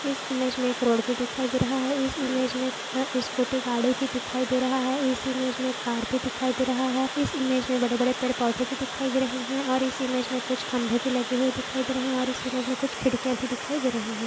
इस इमेज में एक रोड भी दिखाई दे रहा है इस इमेज में स्कूटी गाड़ी भी दिखाई दे रहा है इस इमेज में एक कार भी दिखाई दे रहा है इस इमेज में बड़ेबड़े पेड़ पौधे भी दिखाई दे रहे हैं और इस इमेज में कुछ खंबे भी लगे हुए दिखाई दे रहे है और इस इमेज में कुछ खिड़किया भी दिखाई दे रहे है।